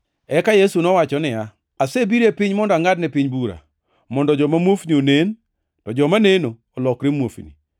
Eka Yesu nowacho niya, “Asebiro e piny mondo angʼadne bura, mondo joma muofni onen, to joma neno olokre muofni.”